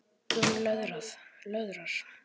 Hún löðrar.